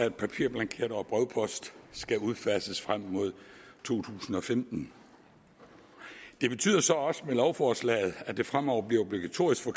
at papirblanketter og brevpost skal udfases frem mod to tusind og femten det betyder så også med lovforslaget fremover bliver obligatorisk for